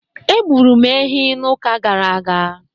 Egburu m ehi n'ụka gara aga.